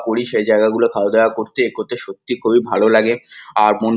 করি সেই জায়গাগুলো খাওয়া দাওয়া করতে এ করতে সত্যি খুবই ভালো লাগে আর মন--